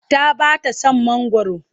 Ta ba ta son mangwaro.